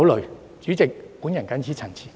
代理主席，我謹此陳辭。